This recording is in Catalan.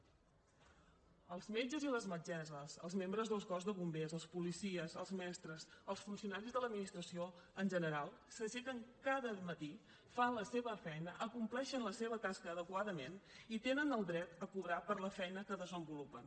els metges i les metgesses els membres del cos de bombers els policies els mestres els funcionaris de l’administració en general s’aixequen cada matí fan la seva feina acompleixen la seva tasca adequadament i tenen el dret a cobrar per la feina que desenvolupen